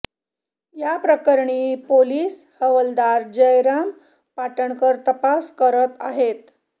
याप्रकरणी पोलीस हवालदार जयराज पाटणकर तपास करत आहेत